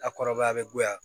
A kɔrɔbaya bɛ bonya